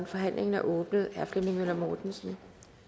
forhandlingen er åbnet herre flemming møller mortensen